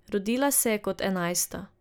Rodila se je kot enajsta.